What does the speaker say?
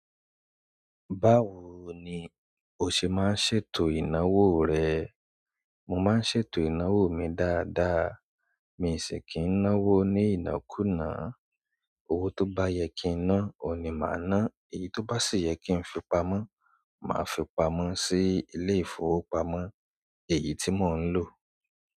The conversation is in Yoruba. Báwo ni o ṣe máa ń ṣètò ìnáwó rẹ? Mo máa ń ṣètò ìnáwó mi dáadáa. Mi ò sì kí ń náwó ní ìnákunà. Owó tó bá yẹ́ kí n ná, òun ni màá ná. Èyí tó bá sì yẹ kí n fi pamọ́, màá fi pamọ́ sí ilé-ìfowópamọ́ èyí tí mò ń lò.